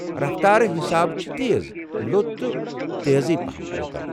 رفتارٕ حسابہٕ چھِ تیز، لوٚت تہٕ تیزٕے پہم لوکل ۔